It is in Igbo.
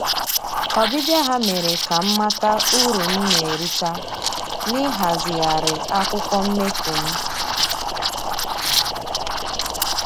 Ọbịbịa ha mere ka m mata uru m na-erita na-ịhazigharị akwụkwọ mmefu m